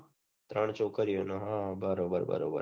ત્રણ છોકરીઓ છે બરોબર બરોબર